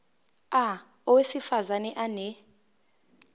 a owesifaz ane